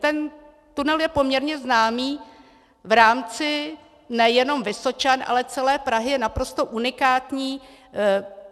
Ten tunel je poměrně známý v rámci nejenom Vysočan, ale celé Prahy, je naprosto unikátní.